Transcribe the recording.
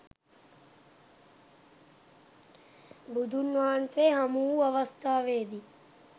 බුදුන් වහන්සේ හමු වූ අවස්ථාවේ දී